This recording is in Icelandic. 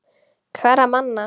Hverra manna?